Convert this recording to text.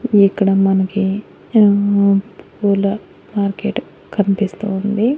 ఇక్కడ మనకి అహ్ పూల మార్కెట్ కనిపిస్తూ ఉంది.